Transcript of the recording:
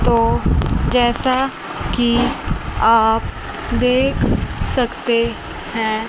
तो जैसा कि आप देख सकते हैं।